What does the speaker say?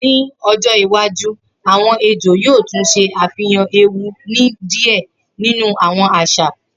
Ni ojo iwaju awọn ejo yoo tun ṣe afihan ewu ni diẹ ninu awọn aṣa